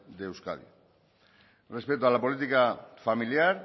de euskadi respecto a la política familiar